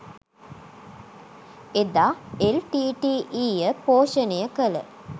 එදා එල්.ටී.ටී.ඊ. ය පෝෂණය කළ